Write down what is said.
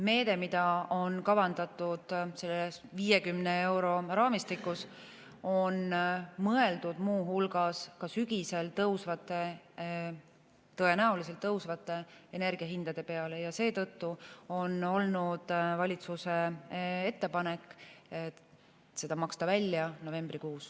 Meede, mida on kavandatud selle 50 euro raamistikus, on mõeldud muu hulgas ka sügisel tõusvate, tõenäoliselt tõusvate energiahindade peale ja seetõttu on olnud valitsuse ettepanek seda maksta välja novembrikuus.